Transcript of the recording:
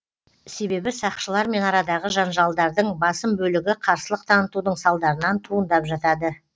себебі сақшылармен арадағы жанжалдардың басым бөлігі қарсылық танытудың салдарынан туындап жатады